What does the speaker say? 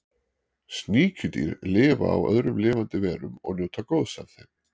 Sníkjudýr lifa á öðrum lifandi verum og njóta góðs af þeim.